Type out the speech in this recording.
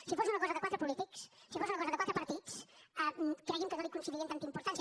si fos una cosa de quatre polítics si fos una cosa de quatre partits cregui’m que no li concedirien tanta importància